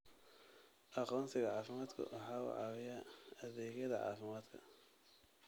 Aqoonsiga caafimaadku waxa uu caawiyaa adeegyada caafimaadka.